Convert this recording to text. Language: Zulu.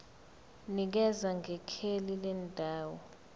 nikeza ngekheli lendawo